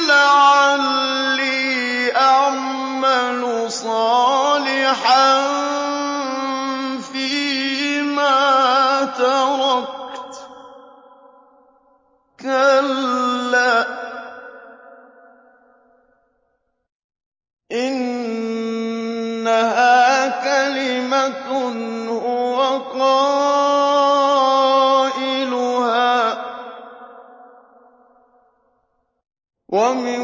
لَعَلِّي أَعْمَلُ صَالِحًا فِيمَا تَرَكْتُ ۚ كَلَّا ۚ إِنَّهَا كَلِمَةٌ هُوَ قَائِلُهَا ۖ وَمِن